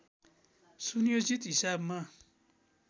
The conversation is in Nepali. सुनियोजित हिसाबमा